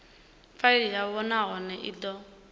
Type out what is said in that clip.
faili yavho nahone i do